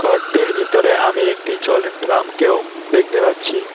ঘরটির ভিতরে আমি একটি জলের ড্রামকেও দেখতে পাচ্ছি।